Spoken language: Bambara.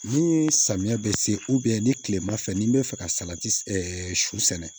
Ni samiya bɛ se ni kilema fɛ ni n bɛ fɛ ka salati sɔ sɛnɛ